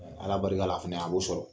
Ala barika la a fɛnɛ a b'o sɔrɔ.